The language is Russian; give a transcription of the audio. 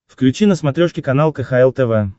включи на смотрешке канал кхл тв